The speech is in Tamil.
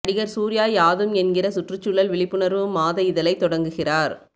நடிகர் சூர்யா யாதும் என்கிற சுற்றுச்சூழல் விழிப்புணர்வு மாத இதழைத் தொடங்குகிறார்